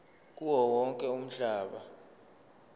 kuwo wonke umhlaba